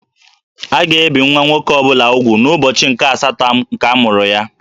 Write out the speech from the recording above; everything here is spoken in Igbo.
A ga ebì nwa nwoke ọ bụla úgwù n'ubọchi nke-asatọ nke amuru ya